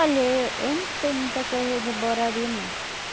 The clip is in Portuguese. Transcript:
Olha e eu não sei muita coisa de Borari, não.